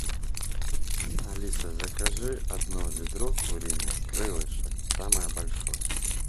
алиса закажи одно ведро куриных крылышек самое большое